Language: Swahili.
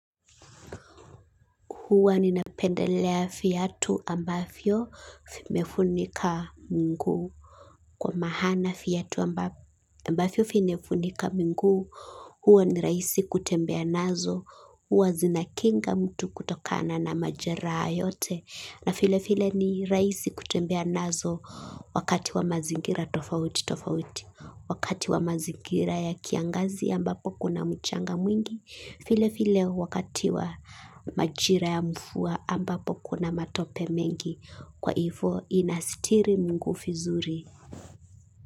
Hua ninapendelea viatu ambavyo zimefunika miguu. Kwa maana viatu ambavyo vimefunika miguu. Huwa nirahisi kutembea nazo. Huwa zinakinga mtu kutokana na majeraha yote. Na vile vile ni rahisi kutembea nazo. Wakati wa mazingira tofauti tofauti. Wakati wa mazingira ya kiangazi ambapo kuna mchanga mwingi. Vile vile wakati wa majira ya mvua ambapo kuna matope mengi kwa hivyo inasitiri miguu vizuri.